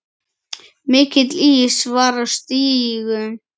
Mikill ís var á stígum.